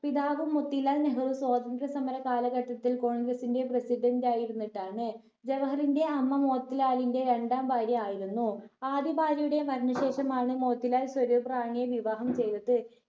പിതാവ് മോത്തിലാൽ നെഹ്‌റു സ്വന്തന്ത്ര സമര കാലഘട്ടത്തിൽ congress ഇന്റെ president ആയിരുന്നിട്ടാണ്. ജവഹറിന്റെ അമ്മ മോത്തിലാലിന്റെ രണ്ടാം ഭാര്യ ആയിരുന്നു ആദ്യ ഭാര്യയുടെ മരണ ശേഷമാണ് മോത്തിലാൽ സ്വരൂപ് റാണിയെ വിവാഹം ചെയ്തത്.